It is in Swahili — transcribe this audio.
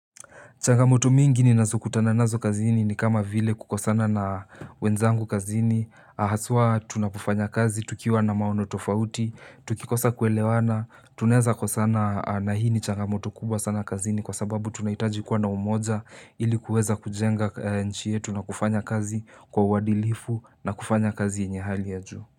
Changamoto mingi ninazokutana nazo kazini ni kama vile kukosana na wenzangu kazini, haswa tunapofanya kazi, tukiwa na maono tofauti, tukikosa kuelewana, tunaeza kukosana, na hii ni changamoto kubwa sana kazini kwa sababu tunahitaji kuwa na umoja ili kuweza kujenga nchi yetu na kufanya kazi kwa uadilifu na kufanya kazi yenye hali ya juu.